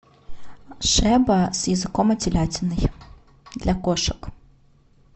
шеба с языком и телятиной для кошек